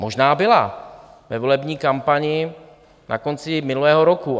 Možná byla ve volební kampani na konci minulého roku.